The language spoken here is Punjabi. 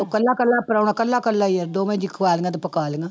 ਇਕੱਲਾ ਇਕੱਲਾ ਪਰਾਹੁਣਾ ਇਕੱਲਾ ਇਕੱਲਾ ਹੀ ਆ ਦੋਵੇਂ ਜੀਅ ਖਵਾ ਲਈਆਂ ਤੇ ਪਕਾ ਲਈਆਂ।